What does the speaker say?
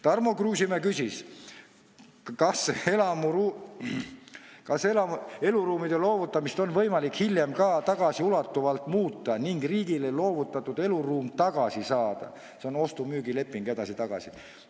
Tarmo Kruusimäe küsis, kas eluruumide loovutamist on võimalik hiljem ka tagasiulatuvalt muuta ning riigile loovutatud eluruum tagasi saada, see oleks siis ostu-müügileping edasi-tagasi.